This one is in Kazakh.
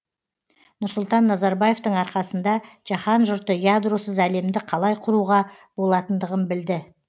нұрсұлтан назарбаевтың арқасында жаһан жұрты ядросыз әлемді қалай құруға болатындығын білді